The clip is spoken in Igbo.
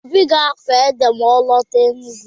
Obi ga-akọ ede ma ọ lọta Enugwu.